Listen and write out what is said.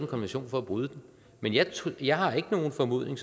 konvention for at bryde den men jeg jeg har ikke nogen formodning